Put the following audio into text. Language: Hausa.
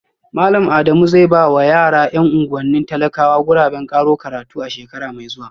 Malam Adamu zai ba wa yara ‘yan unguwannin talakawa guraben karo karatu a shekara mai zuwa